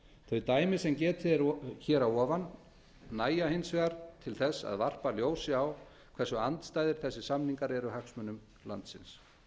þau dæmi sem þegar er getið um nægja hins vegar til að varpa ljósi á hversu andstæðir þessir samningar eru hagsmunum landsins